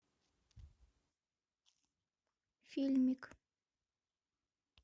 фильмик